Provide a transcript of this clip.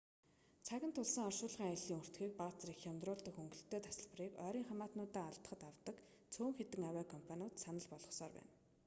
цаг нь тулсан оршуулгын аяллын өртгийг бага зэрэг хямдруулдаг хөнгөлөлтэй тасалбарыг ойрын хамаатнуудаа алдахад авдаг цөөн хэдэн авиа компаниуд санал болгосоор байна